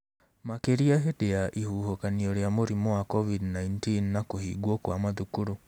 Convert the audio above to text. Makĩria hĩndĩ ya ihuhũkanio ria mũrimũ wa Covid-19 na kũhingwo kwa mathukuru.